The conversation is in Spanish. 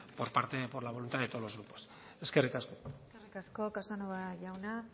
por la voluntad de todos los grupos eskerrik asko eskerrik asko casanova jauna